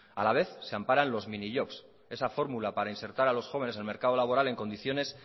a la vez se amparan los minijobs esa fórmula para insertar a los jóvenes al mercado laboral en condiciones